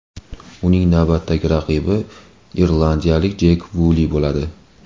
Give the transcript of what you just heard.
Uning navbatdagi raqibi irlandiyalik Jek Vuli bo‘ladi.